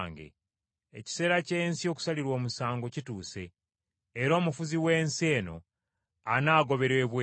Ekiseera ky’ensi okusalirwa omusango kituuse, era omufuzi w’ensi eno anaagoberwa ebweru.